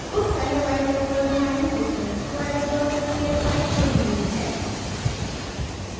उस scilab editor पर जाएँ जिसमें squareitsci फाइल खुली हुई है